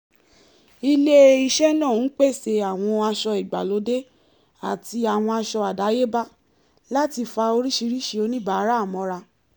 ilé-iṣẹ́ náà ń pèsè àwọn aṣọ ìgbàlóde àti àwọn aṣọ àdáyébá láti fa oríṣiríṣi oníbàárà mọ́ra